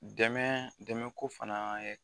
Dɛmɛ dɛmɛ ko fana ye